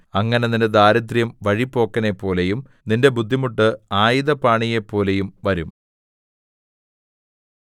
അങ്ങനെ നിന്റെ ദാരിദ്ര്യം വഴിപോക്കനെപ്പോലെയും നിന്റെ ബുദ്ധിമുട്ട് ആയുധപാണിയെപ്പോലെയും വരും